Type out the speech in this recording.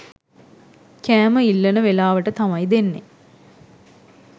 කෑම ඉල්ලන වෙලාවට තමයි දෙන්නේ.